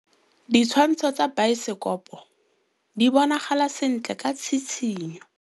Ditshwantshô tsa biosekopo di bonagala sentle ka tshitshinyô.